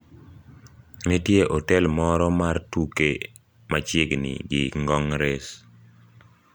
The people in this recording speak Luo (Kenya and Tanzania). Nitie otel moro mar tuke machiegni gi ngong race